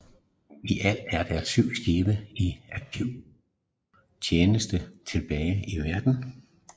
I alt er der syv skibe i aktiv tjeneste tilbage i verden